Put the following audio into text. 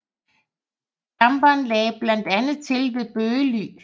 Damperen lagde blandt andet til ved Bøgely